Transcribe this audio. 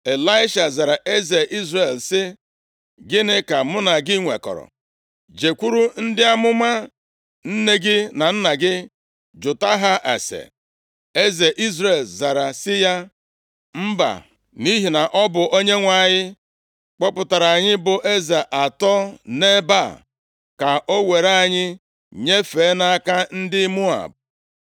Ịlaisha zara eze Izrel sị, “Gịnị ka mụ na gị nwekọrọ? Jekwuru ndị amụma nne gị na nna gị, jụta ha ase.” Eze Izrel zara sị ya, “Mba, nʼihi na ọ bụ Onyenwe anyị kpọpụtara anyị bụ eze atọ nʼebe a, ka o were anyị nyefee nʼaka ndị Moab.”